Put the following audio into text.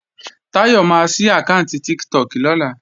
Táyọ̀ máa sí àkáànti Tiktok lọ́la